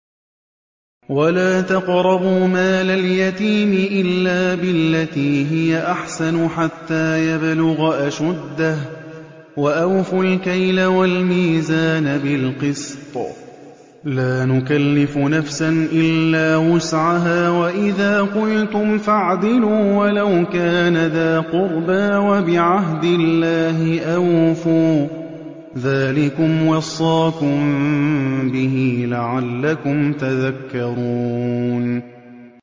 وَلَا تَقْرَبُوا مَالَ الْيَتِيمِ إِلَّا بِالَّتِي هِيَ أَحْسَنُ حَتَّىٰ يَبْلُغَ أَشُدَّهُ ۖ وَأَوْفُوا الْكَيْلَ وَالْمِيزَانَ بِالْقِسْطِ ۖ لَا نُكَلِّفُ نَفْسًا إِلَّا وُسْعَهَا ۖ وَإِذَا قُلْتُمْ فَاعْدِلُوا وَلَوْ كَانَ ذَا قُرْبَىٰ ۖ وَبِعَهْدِ اللَّهِ أَوْفُوا ۚ ذَٰلِكُمْ وَصَّاكُم بِهِ لَعَلَّكُمْ تَذَكَّرُونَ